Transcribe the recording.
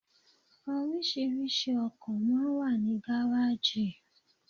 Orísìírísìí ọkọ̀ máa ń wà ní gáráàjì.